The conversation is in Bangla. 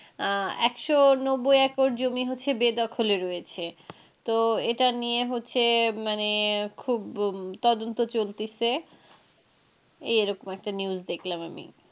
একশ নব্বই একর জমি হচ্ছে বেদখলে রয়েছে। তো এটা নিয়ে হচ্ছে মানে খুব তদন্ত চলতেছে, এই রকম একটা news দেখলাম আমি.